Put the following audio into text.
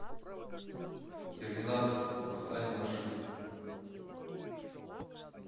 терминатор восстание машин